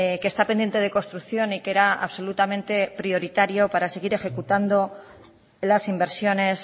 que está pendiente de construcción y que era absolutamente prioritario para seguir ejecutando las inversiones